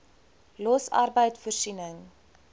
los arbeid voorsiening